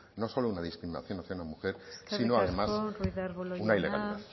no solo una discriminación hacia una mujer sino además una ilegalidad eskerrik asko ruiz de arbulo jauna